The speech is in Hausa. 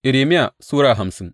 Irmiya Sura hamsin